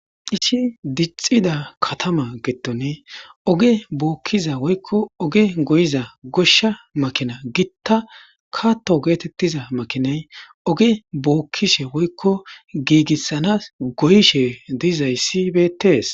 ishi dixida katama geettone oge bookkiza woykko oge goyiza goshsha makina gitta katto geetettiza makinay oge bookkishe woykko giigissanas goyishe dizayssi betees